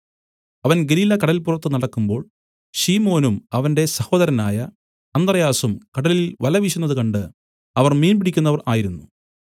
അവൻ ഗലീലക്കടല്പുറത്ത് നടക്കുമ്പോൾ ശിമോനും അവന്റെ സഹോദരനായ അന്ത്രെയാസും കടലിൽ വല വീശുന്നത് കണ്ട് അവർ മീൻ പിടിക്കുന്നവർ ആയിരുന്നു